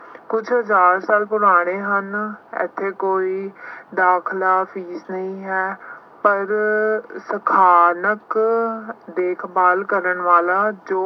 ਕੁੱਝ ਜ਼ਿਆਦਾਤਰ ਬੁਲਾਰੇ ਹਨ ਇੋਥੇ ਕੋਈ ਦਾਖਲਾ ਫੀਸ ਨਹੀਂ ਹੈ। ਪਰ ਸ਼ਥਾਨਕ ਦੇਖਭਾਲ ਕਰਨ ਵਾਲਾ ਜੋ